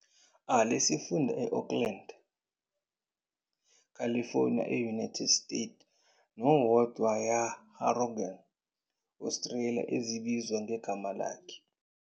A lesifunda e Oakland, California e-United States nowodwa Yarragon, Australia ezibizwa ngegama lakhe.